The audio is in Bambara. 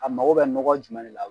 A mago bɛ nɔgɔ jumɛn de la.